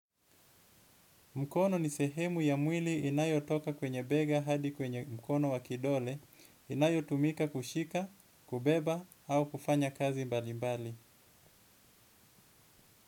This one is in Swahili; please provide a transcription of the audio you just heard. Mkono ni sehemu ya mwili inayotoka kwenye bega hadi kwenye mkono wakidole, inayotumika kushika, kubeba, au kufanya kazi mbali mbali.